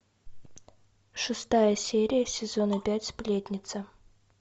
шестая серия сезона пять сплетница